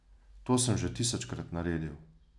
To sem že tisočkrat naredil.